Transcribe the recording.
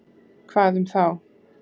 Hvað um þá?